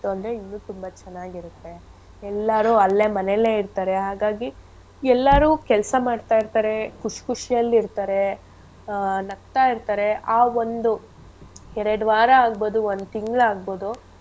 ಅಂದ್ರೆ ಇನ್ನು ತುಂಬಾ ಚೆನ್ನಾಗಿರತ್ತೆ. ಎಲ್ಲಾರು ಅಲ್ಲೇ ಮನೇಲೆ ಇರ್ತಾರೆ ಹಾಗಾಗಿ ಎಲ್ಲಾರು ಕೆಲ್ಸ ಮಾಡ್ತಾ ಇರ್ತಾರೆ ಖುಷ್~ ಖುಷಿಯಲ್ ಇರ್ತಾರೆ ಆ ನಗ್ತಾ ಇರ್ತಾರೆ ಆ ಒಂದು ಎರ್ಡ್ ವಾರ ಆಗ್ಬೋದು ಒಂದ್ ತಿಂಗ್ಳ್ ಆಗ್ಬೋದು.